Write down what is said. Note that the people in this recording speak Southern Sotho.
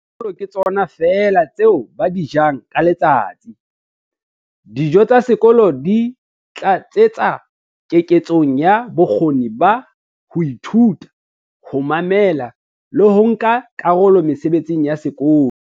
"tsa sekolo ke tsona feela tseo ba di jang ka letsatsi. Dijo tsa sekolo di tlatsetsa keketsong ya bokgoni ba ho ithuta, ho mamela le ho nka karolo mesebetsing ya sekolo".